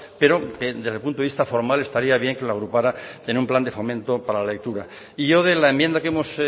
pero que desde el punto de vista formal estaría bien que lo agrupara en un plan de fomento para la lectura y yo de la enmienda que hemos